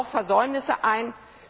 Sie räumt auch Versäumnisse ein.